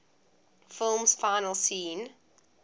film's final scene